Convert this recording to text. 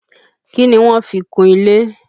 Kí ni wọ́n fi kun ilé?